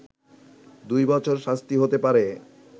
দুই বছর শাস্তি হতে পারে